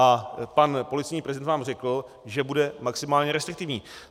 A pan policejní prezident vám řekl, že bude maximálně restriktivní.